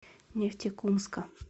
нефтекумска